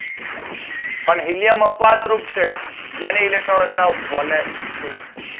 અને હીલિયમ અપવાદ રૂપ છે જેમ ઇલેક્ટ્રોન રચના વનએચટુ છે